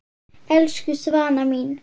Elsku Svana mín.